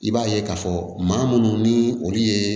I b'a ye k'a fɔ maa munnu ni olu ye